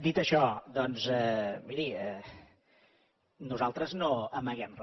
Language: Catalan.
dit això doncs miri nosaltres no amaguem re